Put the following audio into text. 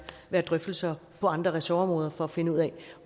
være drøftelser på andre ressortområder for at finde ud af